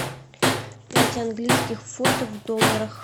пять английских фунтов в долларах